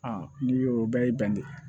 n'i y'o bɛɛ y'i bɛn de